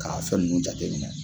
K'a fɛn nunnu jate minɛ